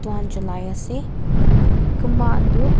moihan cholai ase kunba khan tu--